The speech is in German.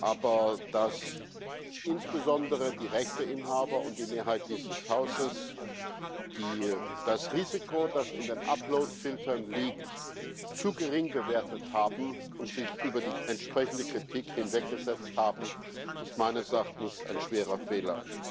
Aber dass insbesondere die Rechteinhaber und die Mehrheit dieses Hauses das Risiko, das in den Uploadfiltern liegt, zu gering bewertet haben und sich über die entsprechende Kritik hinweggesetzt haben, ist meines Erachtens ein schwerer Fehler.